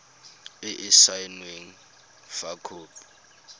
e e saenweng fa khopi